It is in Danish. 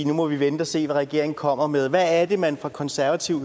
nu må vi vente at se hvad regeringen kommer med hvad er det man fra konservativ